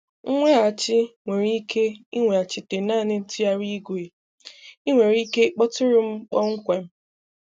Nweghachi nwere ike ị nweghachite naanị ntụgharị igwe, ị nwere ike ịkpọtụrụ m kpọmkwem.